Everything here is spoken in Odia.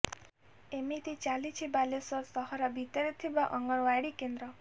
ଏମତି ଚାଲିଛି ବାଲେଶ୍ୱର ସହର ଭିତରେ ଥିବା ଅଙ୍ଗନୱାଡି କେନ୍ଦ୍ର